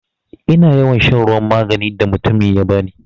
Ina yawan shan ruwan maganin da mutumin ya bani.